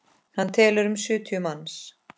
Hann telur um sjötíu manns.